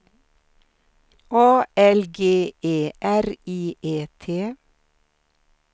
A L G E R I E T